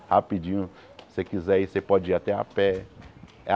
Rapidinho, você quiser ir, você pode ir até a pé.